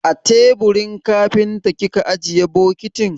A teburin kafinta kika ajiye bokitin?